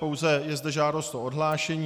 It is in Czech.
Pouze je zde žádost o odhlášení.